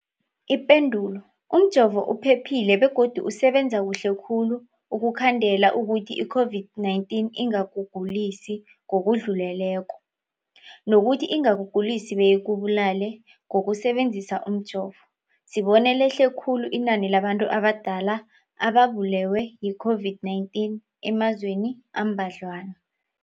Ipendulo, umjovo uphephile begodu usebenza kuhle khulu ukukhandela ukuthi i-COVID-19 ingakugulisi ngokudluleleko, nokuthi ingakugulisi beyikubulale. Ngokusebe nzisa umjovo, sibone lehle khulu inani labantu abadala ababulewe yi-COVID-19 emazweni ambadlwana.